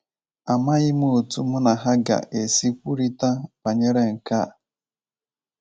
Amaghị m otu mụ na ha ga - esi kwurịta banyere nke a. ”